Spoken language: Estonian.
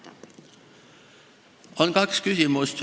Siin on kaks küsimust.